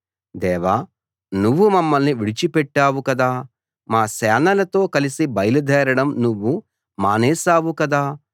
దేవా నువ్వు మమ్మల్ని విడిచిపెట్టావు కదా మా సేనలతో కలిసి బయలుదేరడం నువ్వు మానేశావు కదా